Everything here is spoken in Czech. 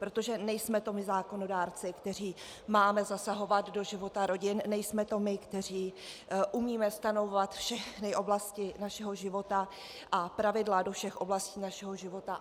Protože nejsme to my zákonodárci, kteří máme zasahovat do života rodin, nejsme to my, kteří umíme stanovovat všechny oblasti našeho života a pravidla do všech oblastí našeho života.